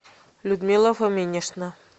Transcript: людмила фоминична